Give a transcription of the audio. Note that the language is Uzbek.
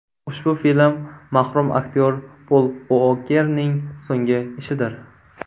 Ushbu film mahrum aktyor Pol Uokerning so‘nggi ishidir.